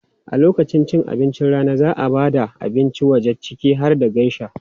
A lokacin abincin rana, za a ba da abincin waje ciki har da geisha.